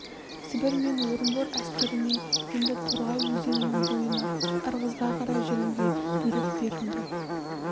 сібір мен орынбор әскеріне енді торғай өзенінің бойына ырғызға қарай жүруге бұйрық берілді